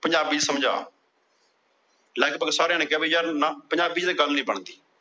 ਪੰਜਾਬੀ ਚ ਸਮਝਾ। ਲਗਭਗ ਸਾਰਿਆਂ ਨੇ ਕਿਹਾ ਨਾ ਪੰਜਾਬੀ ਚ ਤਾਂ ਗੱਲ ਨਹੀਂ ਬਣਦੀ।